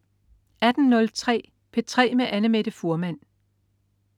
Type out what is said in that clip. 18.03 P3 med Annamette Fuhrmann